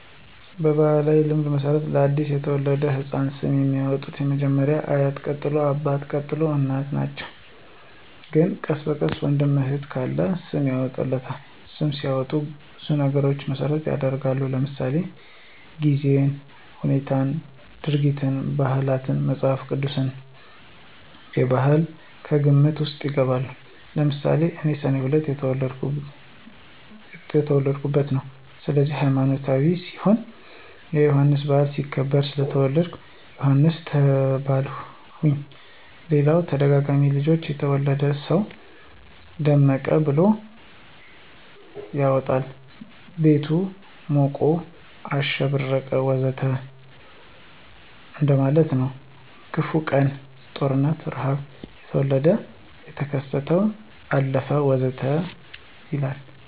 በባሕላዊ ልማድ መሠረት ለ አዲስ የተወለደ ሕፃን ስም የሚያወጣዉ መጀመሪያ አያት ቀጥሎ አባት፣ ቀጥሎ እናት ናቸው ግን ቀስ በቀስ ወንድምም እህትም ካለ ስም ያወጡለታል። ስም ሲወጣ ብዙ ነገሮችን መሰረት ይደረጋል ለምሳሌ:-የጊዜን ሁነት፣ ድርጊትን፣ ባህላትን፣ መፅሐፍ ቅዱስን፣ ባህልም ከግምት ውስጥ ይገባል። ለምሳሌ እኔ ሰኔ 2 የተወለድሁበት ነው ስለዚህ ሀይማኖታዊ ሲሆን የዮሐንስ በዓል ሲከበር ስለተወለድሁ ዮሐንስ ተባልሁኝ ሌላም ተደጋጋሚ ልጆች የወለደ ሰው ደመቀ ብሎ ያወጣል ቤቱ ሞቀ፣ አሸበረቀ ወዘተ እንደማለት ነው። በክፉ ቀን(ጦርነት፣ ርሐብ) የተወለደ ደግሞ ተከሰተ፣ አለፈ ወዘተ ይባላል